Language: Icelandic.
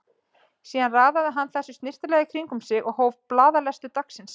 Síðan raðaði hann þessu snyrtilega í kring um sig og hóf blaðalestur dagsins.